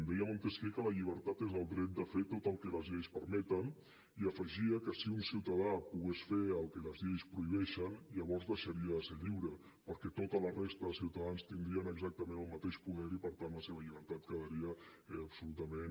deia montesquiu que la llibertat és el dret de fer tot el que les lleis permeten i afegia que si un ciutadà pogués fer el que les lleis prohibeixen llavors deixaria de ser lliure perquè tota la resta de ciutadans tindrien exactament el mateix poder i per tant la seva llibertat quedaria absolutament